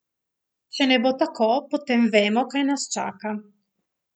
Če ne bo tako, potem vemo, kaj nas čaka.